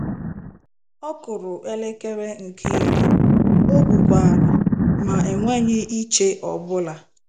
" Ọkụrụ elekere nkè iri ," okwu kwaara," ma enweghị iche obula!